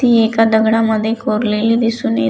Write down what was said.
ती एका दगडा मध्ये कोरलेली दिसून ये--